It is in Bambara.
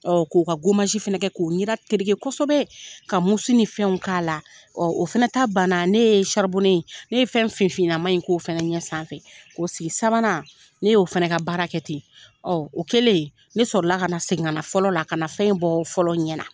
k'o ka fɛnɛ kɛ k'o ɲɛda tereke kosɛbɛ ka ni fɛnw k'a la, o fɛnɛ ta bana ne ye ne ye fɛn finfinnama in k' o fɛnɛ ɲɛ sanfɛ, k'o sigi sabanan ne y'o fɛnɛ ka baara kɛ ten o kɛlen, ne sɔrɔla ka na segin ka na fɔlɔ la, ka na fɛn bɔ fɔlɔ ɲɛ na.